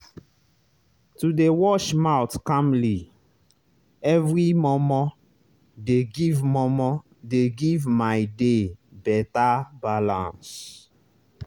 to dey wash mouth calmly every momo dey give momo dey give my day better balance